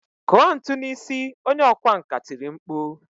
Kụọ ntu n'isi! Onye ọkwá nkà tiri mkpu.